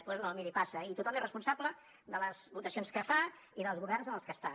doncs no miri passa i tothom és responsable de les votacions que fa i dels governs en els que està